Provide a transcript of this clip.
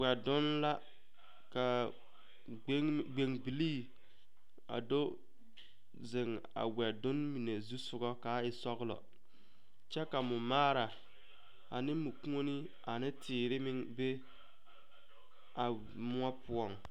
Wɛdonne la ka gbeŋne gbeŋ bilii a do zeŋ a wɛdonne mine zu soga ka a e sɔglɔ kyɛ ka mɔmaara ane mɔkuoni ane neteere meŋ be a moɔ poɔŋ.